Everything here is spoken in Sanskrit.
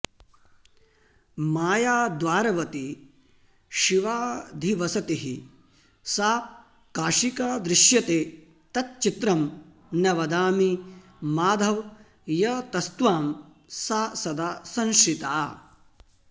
मायाद्वारवती शिवाधिवसतिः सा काशिका दृश्यते तच्चित्रं न वदामि माधव यतस्त्वां सा सदा संश्रिता